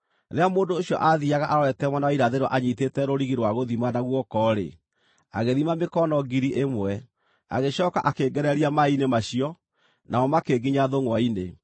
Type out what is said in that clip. Rĩrĩa mũndũ ũcio aathiiaga arorete mwena wa irathĩro anyiitĩte rũrigi rwa gũthima na guoko-rĩ, agĩthima mĩkono 1,000, agĩcooka akĩngereria maaĩ-inĩ macio, namo makĩnginya thũngʼwa-inĩ.